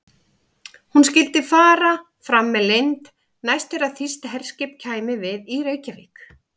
Hún skyldi fara fram með leynd, næst þegar þýskt herskip kæmi við í Reykjavík.